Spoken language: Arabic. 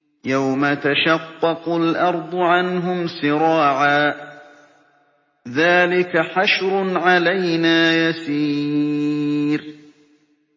يَوْمَ تَشَقَّقُ الْأَرْضُ عَنْهُمْ سِرَاعًا ۚ ذَٰلِكَ حَشْرٌ عَلَيْنَا يَسِيرٌ